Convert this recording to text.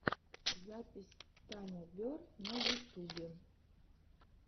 запись таня берр на ютубе